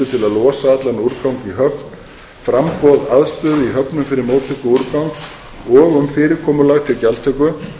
að losa allan úrgang í höfn framboð aðstöðu í höfnum fyrir móttöku úrgangs og um fyrirkomulag til gjaldtöku